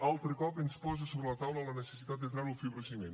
altre cop ens posa sobre la taula la necessitat de treure el fibrociment